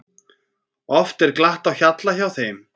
Oft er glatt á hjalla hjá þeim.